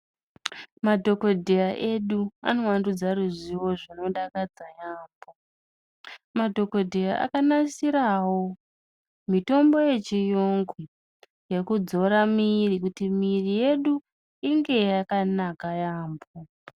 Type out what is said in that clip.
Madhokodheya edu anovandudza ruzivo zvinodakadza yambo, madhokodheya akanasirawo mitombo yechiyungu yekudzora miiri kuti miiri yedu inge yakanaka yambo.